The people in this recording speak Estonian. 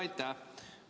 Aitäh!